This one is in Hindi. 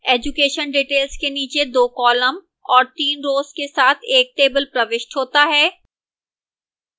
education details के नीचे दो columns और तीन rows के साथ एक table प्रविष्ट होता है